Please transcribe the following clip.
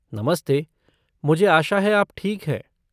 नमस्ते, मुझे आशा है आप ठीक हैं।